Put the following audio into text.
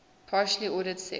partially ordered set